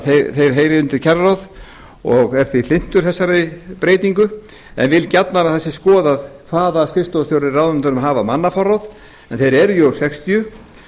þeir heyri undir kjararáð og er því hlynntur þessari breytingu en vil gjarnan að það sé skoðað hvaða skrifstofustjórar í ráðuneytunum hafa mannaforráð en þeir eru sextíu